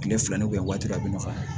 Tile fila waati dɔ a bɛ nɔgɔya